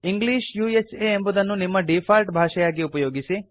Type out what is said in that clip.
English ಎಂಬುದನ್ನು ನಿಮ್ಮ default ಭಾಷೆಯಾಗಿ ಉಪಯೋಗಿಸಿ